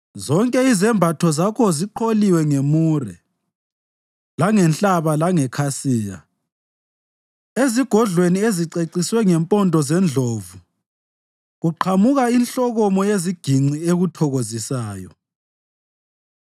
Zonke izembatho zakho ziqholiwe ngemure, langenhlaba langekhasiya; ezigodlweni eziceciswe ngempondo zendlovu kuqhamuka inhlokomo yeziginci ekuthokozisayo.